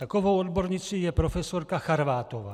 Takovou odbornicí je profesorka Charvátová.